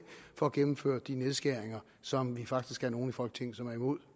for at gennemføre de nedskæringer som vi faktisk er nogle i folketinget som er imod